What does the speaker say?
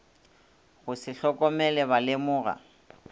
go se hlokomele ba lemoga